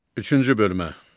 Üçüncü bölmə.